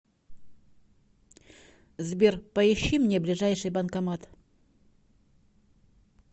сбер поищи мне ближайший банкомат